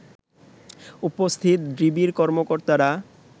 উপস্থিত ডিবির কর্মকর্তারা